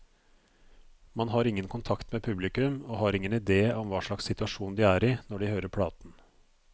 Man har ingen kontakt med publikum, og har ingen idé om hva slags situasjon de er i når de hører platen.